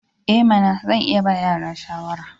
I mana! Zan iya ba yara shawara.